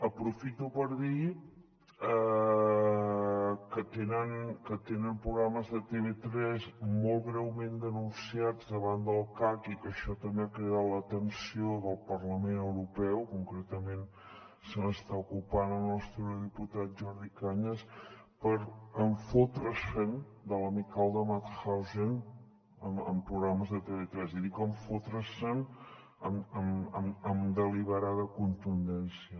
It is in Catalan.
aprofito per dir que tenen programes de tv3 molt greument denunciats davant del cac i que això també ha cridat l’atenció del parlament europeu concretament se n’està ocupant el nostre eurodiputat jordi cañas per fotre se’n de l’amical de mauthausen en programes de tv3 i dic fotre se’n amb deliberada contundència